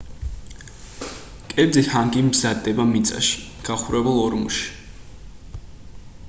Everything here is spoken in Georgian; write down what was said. კერძი ჰანგი მზადდება მიწაში გახურებულ ორმოში